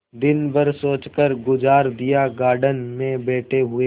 दिन भर सोचकर गुजार दिएगार्डन में बैठे हुए